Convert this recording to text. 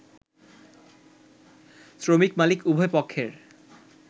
শ্রমিক-মালিক উভয়পক্ষের